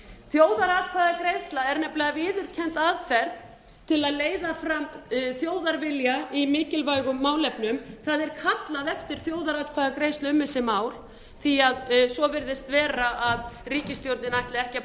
þjóðaratkvæðagreiðsla er nefnilega viðurkennd aðferð til að leiða fram þjóðarvilja í mikilvægum málefnum það er kallað eftir þjóðaratkvæðagreiðslu um þessi mál því að svo virðist vera að ríkisstjórnin ætli ekki